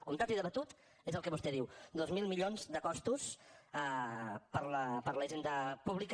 comptat i debatut és el que vostè diu dos mil milions de costos per a la hisenda pública